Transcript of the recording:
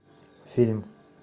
фильм